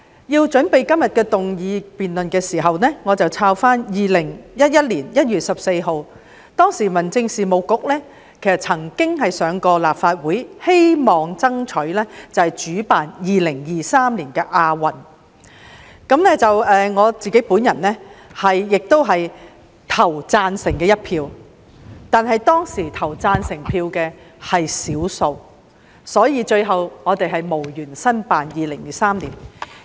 在準備今天的議案辯論時，我翻查了2011年1月14日的文件，當時的民政事務局曾經在立法會爭取主辦2023年的亞洲運動會，而我亦投了贊成票，但當時投贊成票的是少數，所以最後我們無緣申辦2023年的亞運會。